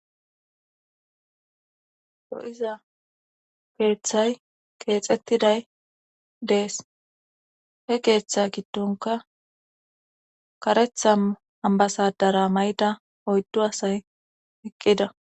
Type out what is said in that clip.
do7iza keeththay keexettiday dees he keeththe giddonka karetha hambasadara may7da oyddo asay eqqida